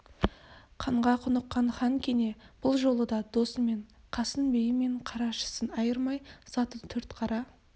қанға құныққан хан кене бұл жолы да досы мен қасын биі мен қарашысын айырмай заты төртқара